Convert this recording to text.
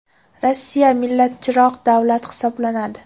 Rossiya millatchiroq davlat hisoblanadi”.